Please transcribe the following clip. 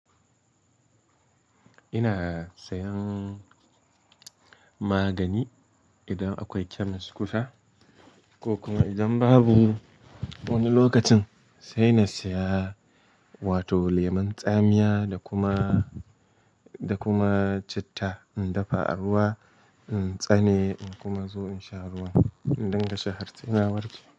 Ina sayan magani idan akwai chemist kusa ko kuma idan babu wani lokacin sai na saya wato lemun tsamiya da kuma--da kuma citta in dafa a ruwa, in tsane in kuma zo in sha ruwan in dinga sha har se na warke.